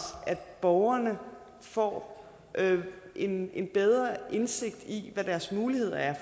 at borgerne får en bedre indsigt i hvad deres muligheder er